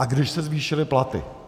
A když se zvýšily platy.